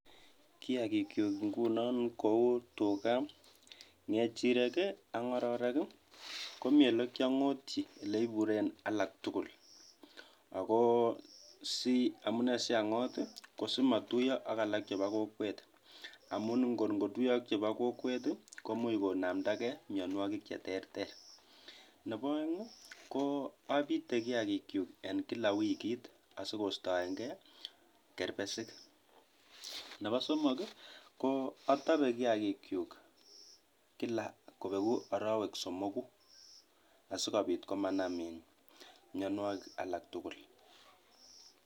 Kiagikyuk inguno kou tugak, ngechirek ii ak ngororek ii komii ole kiongotyi ole iburen alak tugul ako amune siangot ii kosimotuyo ak alak chebo kokwet amun ngor ngotuyo ak chebo kokwet komuch konamdagee mionwogik cheterter ,nebo oeng ko obite kila kiagikyuk en wikit asikostoengee kerbesik ,nebo somok ii kootobe kiagikyuk kila kobegu orowek somoguk asikobit komanam mionwogik alak tugul.